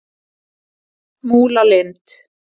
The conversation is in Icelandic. Múlalind